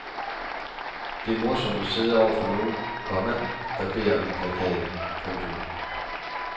Det er morsomt at sidde over for nogen, komma der ber om en plakat. punktum